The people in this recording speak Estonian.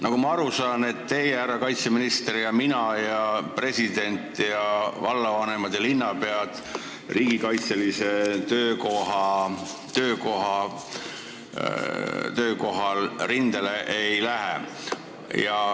Nagu ma aru saan, teie, härra kaitseminister, mina, president, vallavanemad ja linnapead rindele ei lähe.